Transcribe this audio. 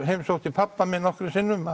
sótti pabba minn nokkrum sinnum